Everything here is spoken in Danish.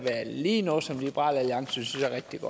lige være noget som liberal alliance synes